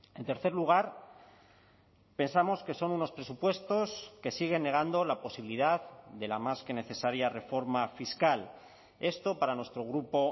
en tercer lugar pensamos que son unos presupuestos que siguen negando la posibilidad de la más que necesaria reforma fiscal esto para nuestro grupo